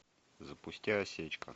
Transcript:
запусти осечка